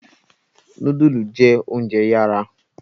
Nudulu jẹ ounjẹ yara